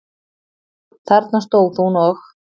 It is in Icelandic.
Þarna stóð hún og.